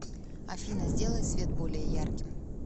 афина сделай свет более ярким